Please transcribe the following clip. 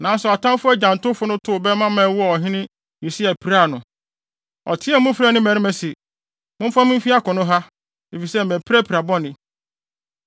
Nanso atamfo agyantowfo no tow bɛmma ma ɛwɔɔ ɔhene Yosia, piraa no. Ɔteɛɛ mu frɛɛ ne mmarima se, “Momfa me mfi akono ha, efisɛ mapira pira bɔne.”